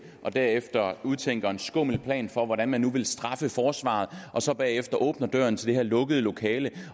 og derefter udtænker en skummel plan for hvordan man nu vil straffe forsvaret og så bagefter åbner døren til det her lukkede lokale